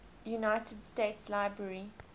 united states library